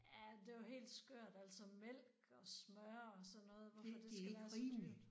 Ja det jo helt skørt altså mælk og smør og sådan noget hvorfor det skal være så dyrt